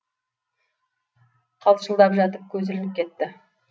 қалшылдап жатып көзі ілініп кетті